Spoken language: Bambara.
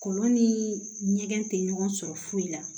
Kɔlɔn ni ɲɛgɛn tɛ ɲɔgɔn sɔrɔ foyi la